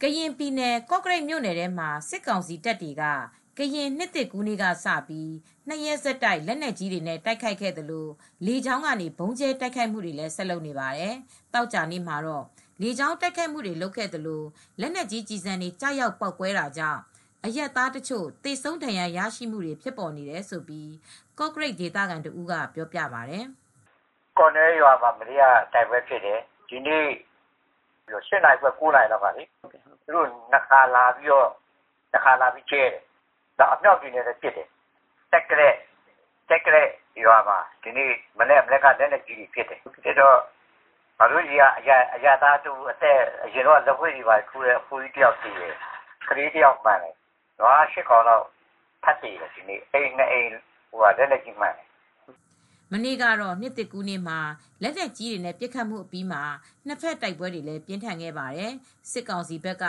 ကရင်ပြည်နယ် ကော့ကရိတ်မြို့နယ်ထဲမှာ စစ်ကောင်စီတပ်တွေက ကရင်နှစ်သစ်ကူးနေ့ကစပြီး ၂ ရက် ဆက်တိုက် လက်နက်ကြီးတွေနဲ့တိုက်ခိုက်ခဲ့သလို လေကြောင်းကနေလည်း ဆက်တိုက် ဗုံးကြဲတိုက်ခိုက်နေပါတယ်။ ဒီနေ့ သောကြာနေ့မှာလည်း လေကြောင်းကတိုက်ခိုက်တာတွေရှိပြီး လက်နက်ကြီးကျည်ဆံတွေကျရောက်ပေါက်ကွဲတာကြောင့် အရပ်သားတချို့ သေဆုံးဒဏ်ရာရခဲ့တာတွေရှိကြောင်း ကော့ကရိတ်ဒေသခံတဦးကပြောပြပါတယ်။ “ ကော့နွဲ့ရွာမှာ မနေ့က တိုက်ပွဲဖြစ်တယ်။ ဒီနေ့ကျတော့ ၈ နာရီခွဲ ၉ နာရီလောက်က သူတို့လေကြောင်းကနေ နှစ်ခါလာပြီး တခါကတော့ ဗုံးကြဲသွားတယ်။ အမြောက်တွေနဲ့လည်း လာပစ်တယ်။ ကျိုက်သလဲ့ရွာမှာ ဒီနေ့မနက်က လက်နက်ကြီးနဲ့ပစ်တော့ ငါတို့ဆီက အသက်ကြီးကြီး အရပ်သား လက်ဝှေ့ထိုးတဲ့အဖိုးကြီးတယောက်သေတယ်။ ကလေးတယောက်လည်းမှန်သွားတယ်။ နွား ၈ ကောင် ဒီနေ့ ထပ်သေတယ်။ အိမ်နှစ်အိမ် လက်နက်ကြီးမှန်တယ်။” မနေ့က ကရင်နှစ်သစ်ကူးနေ့မှာ လက်နက်ကြီးတွေနဲ့ပစ်ခတ်ခဲ့ပြီး နှစ်ဘက်တိုက်ပွဲတွေပြင်းထန်ခဲ့ပါတယ်။ စစ်ကောင်စီဘက်က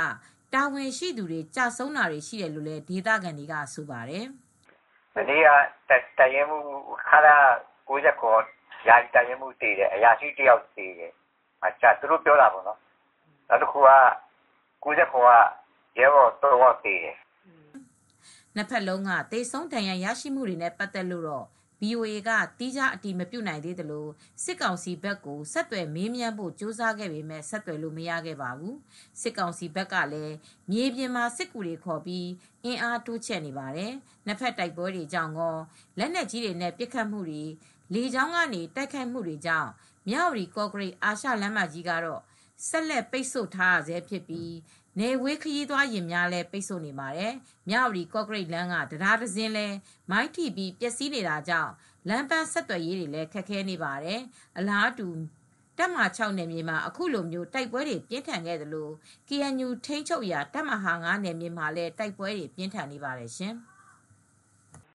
တာဝန်ရှိသူတွေ ကျဆုံးတာရှိတယ်လို့ ဒေသခံတွေကတော့ဆိုပါတယ်။ “မနေ့ကတော့ ခလရ ၉၇ အရာရှိ ယာယီတပ်ရင်းမှူးသေတယ်။ အရာရှိတယောက်သေတယ်။ ခလရ ၉၇ က ရဲဘော် ၃ ယောက်သေတယ်။ သူတို့ပြောတာပေါ့နော်။” နှစ်ဘက်လုံးက သေဆုံးဒဏ်ရာရကြတဲ့အရေအတွက်တွေနဲ့ပတ်သက်လို့တော့ VOA က သီးခြား အတည်မပြုနိုင်သေးသလို စစ်ကောင်စီဘက်ကို ဆက်သွယ်မေးမြန်းဖို့ကြိုးစားခဲ့ပေမဲ့ ဆက်သွယ်လို့မရခဲ့ပါဘူး။ စစ်ကောင်စီဘက်ကလည်း မြေပြင်မှာစစ်ကူတွေခေါ်ပြီး အင်အားတိုးချဲ့နေပါတယ်။ နှစ်ဘက်တိုက်ပွဲတွေကြောင့်ကော လက်နက်ကြီးတွေနဲ့ပစ်ခတ်တာ၊ လေကြောင်းကနေ တိုက်ခိုက်နေတာတွေကြောင့် မြဝတီ-ကော့ကရိတ် အာရှလမ်းမကြီးကို ဆက်လက်ပိတ်ဆို့နေဆဲဖြစ်ပြီး နယ်ဝေး ခရီးသွားယာဉ်တွေကိုလည်း ပိတ်ထားပါတယ်။ မြဝတီ ကော့ကရိတ်လမ်းက တံတားတစင်းလည်း မိုင်းထိပြီး ပျက်စီးနေတာကြောင့် လမ်းပမ်းဆက်သွယ်ရေးလည်း ခက်ခဲနေပါတယ်။ အလားတူ တပ်မဟာ နယ်မြေမှာ အခုလိုတိုက်ပွဲတွေပြင်းထန်နေသလို ကေအန်ယူထိန်းချုပ်ရာတပ်မဟာ နယ်မြေ မှာလည်း တိုက်ပွဲတွေ ပြင်းထန်နေပါတယ်ရှင်။